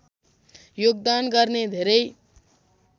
योगदान गर्ने धेरै